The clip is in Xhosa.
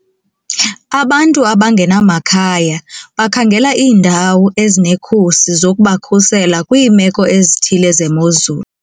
Abantu abangenamakhaya bakhangela iindawo ezinekhusi zokubakhusela kwiimeko ezithile zemozulu.